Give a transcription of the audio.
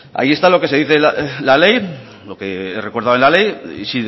ahí está lo que dice la ley lo que recuerda la ley y